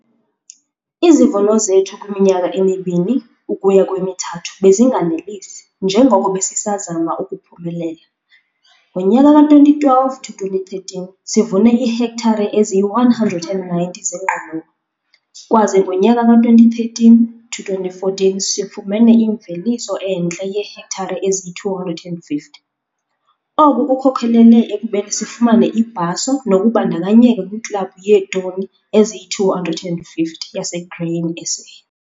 Izivuno zethu kwiminyaka emibini ukuya kwemithathu bezinganelisi njengoko besisazama ukuphumelela. Ngonyaka ka-2012 to 2013 sivune iihektare eziyi-190 zengqolowa. Kwaze ngonyaka ka-2013 to 2014 sifumene imveliso entle yeehektare eziyi-250. Oku kukhokelele ekubeni sifumane ibhaso nokubandakanyeka kwiKlabhu yeeToni eziyi-250 yaseGrain SA.